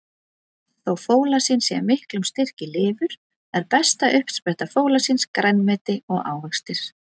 Þó fólasín sé í miklum styrk í lifur, er besta uppspretta fólasíns grænmeti og ávextir.